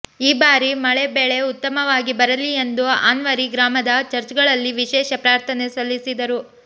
ಈ ಭಾರಿ ಮಳೆ ಬೆಳೆ ಉತ್ತಮವಾಗಿ ಬರಲಿ ಎಂದು ಆನ್ವರಿ ಗ್ರಾಮದ ಚರ್ಚ್ಗಳಲ್ಲಿ ವಿಶೇಷ ಪ್ರಾಥನೆ ಸಲ್ಲಿಸಿದರು